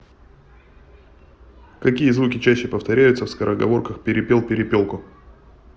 какие звуки чаще повторяются в скороговорках перепел перепелку